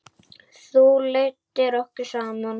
Þú leiddir okkur saman.